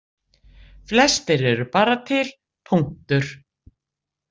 Flestir eru bara til, punktur.